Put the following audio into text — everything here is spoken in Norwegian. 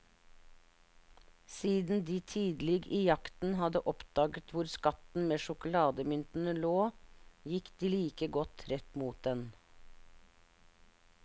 Siden de tidlig i jakten hadde oppdaget hvor skatten med sjokolademyntene lå, gikk de like godt rett mot den.